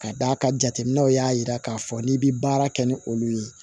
Ka d'a kan jateminɛw y'a jira k'a fɔ n'i bɛ baara kɛ ni olu ye